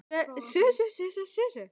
hugsaði ég döpur í bragði.